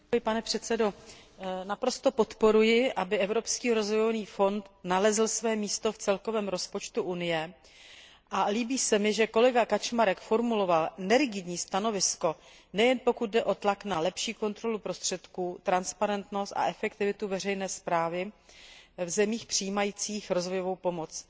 Pane předsedající, naprosto podporuji, aby Evropský rozvojový fond nalezl své místo v celkovém rozpočtu Unie, a líbí se mi, že kolega Kaczmarek formuloval nerigidní stanovisko, a to nejen pokud jde o tlak na lepší kontrolu prostředků, transparentnost a efektivitu veřejné správy v zemích přijímajících rozvojovou pomoc.